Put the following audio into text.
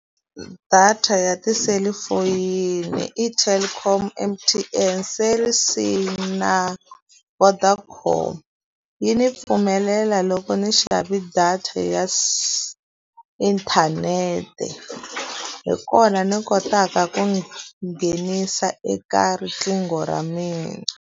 Data ya tiselifoyini i Telkom, M_T_N, Cell C na Vodacom. Yi ni pfumelela loko ndzi xave data ya inthanete, hi kona ni kotaka ku nghenisa eka riqingho ra mina.